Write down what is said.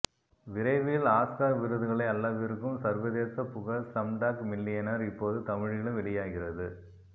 விரைவில் ஆஸ்கர் விருதுகளை அள்ளவிருக்கும் சர்வதேசப் புகழ் ஸ்லம்டாக் மில்லியனேர் இப்போது தமிழிலும் வெளியாகிறது